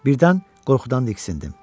Birdən qorxudan diksindim.